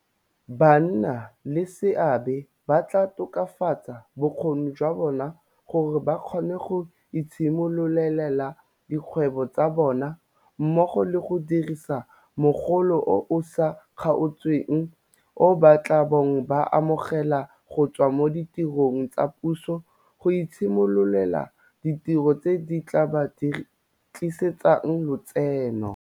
Bannaleseabe ba tla tokafatsa bokgoni jwa bona gore ba kgone go itshimololela dikgwebo tsa bona, mmogo le go dirisa mogolo o o sa kgaotseng o ba tla bong ba o amogela go tswa mo ditirong tsa puso go itshimololela ditiro tse di tla ba tlisetsang letseno.